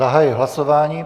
Zahajuji hlasování.